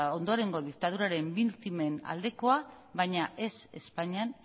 ondorengo diktaduraren biktimen aldekoa baina